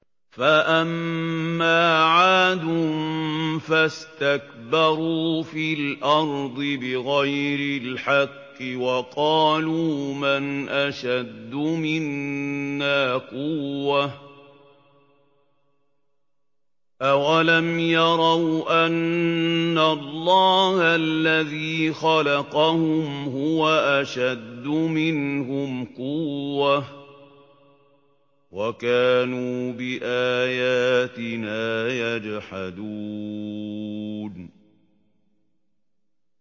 فَأَمَّا عَادٌ فَاسْتَكْبَرُوا فِي الْأَرْضِ بِغَيْرِ الْحَقِّ وَقَالُوا مَنْ أَشَدُّ مِنَّا قُوَّةً ۖ أَوَلَمْ يَرَوْا أَنَّ اللَّهَ الَّذِي خَلَقَهُمْ هُوَ أَشَدُّ مِنْهُمْ قُوَّةً ۖ وَكَانُوا بِآيَاتِنَا يَجْحَدُونَ